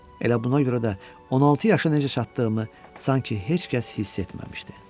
Elə buna görə də 16 yaşa necə çatdığımı sanki heç kəs hiss etməmişdi.